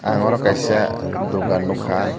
ang oro kaisa dugan nugkka.